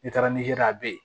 N'i taara nizɛri a be ye